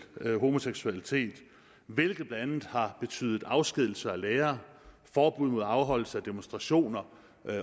homoseksualitet hvilket blandt andet har betydet afskedigelser af lærere forbud mod afholdelse af demonstrationer